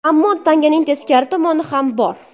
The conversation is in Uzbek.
Ammo tanganing teskari tomoni ham bor.